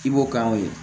I b'o k'aw ye